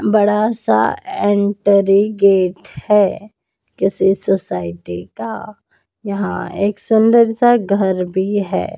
बड़ा सा entry gate है किसी सोसाइटी का यहां एक सुंदर सा घर भी है।